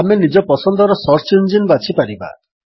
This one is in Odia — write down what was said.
ଆମେ ନିଜ ପସନ୍ଦର ସର୍ଚ୍ଚ ଇଞ୍ଜିନ୍ ବାଛି ପାରିବା